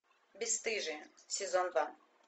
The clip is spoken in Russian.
бесстыжие сезон два